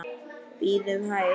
Bíðum hæg.